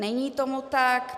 Není tomu tak.